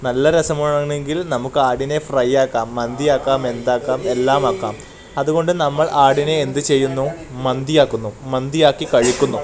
നല്ല രസമാണെങ്കിൽ നമുക്കാടിനെ ഫ്രൈയാക്കാം മന്തിയാക്കാം മെന്താക്കാം എല്ലാമാക്കാം അതുകൊണ്ട് നമ്മൾ ആടിനെ എന്തു ചെയ്യുന്നു മന്തിയാക്കുന്നു മന്തിയാക്കി കഴിക്കുന്നു.